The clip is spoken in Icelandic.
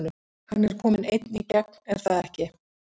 Hann er kominn einn í gegn er það ekki?